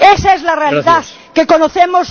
Esa es la realidad que conocemos...